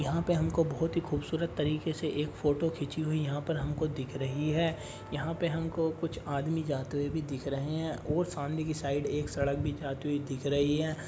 यहां पर हमको बहोत ही खूबसूरत तरीके से एक फोटो खींची हुई यहां पर हमको दिख रही है। यहां पर हमको कुछ आदमी जाते हुए भी दिख रहे हैं और सामने की साइड एक सड़क भी जाती हुई दिख रही है।